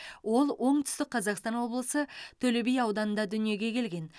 ол оңтүстік қазақстан облысы төле би ауданында дүниеге келген